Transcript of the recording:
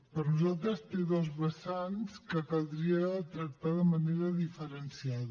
per nosaltres té dos vessants que caldria tractar de manera diferenciada